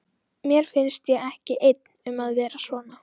Mér finnst ég ekki einn um að vera svona